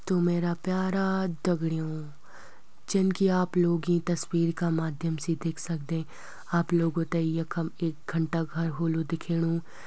त मेरा प्यारा दगड़यूँ जनकि आप लोग यीं तस्वीर का माध्यम से देख सकदें आप लोगों तें यखम एक घंटा घर होलु दिखेणु।